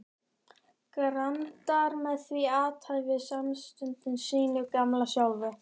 grandar með því athæfi samstundis sínu gamla sjálfi.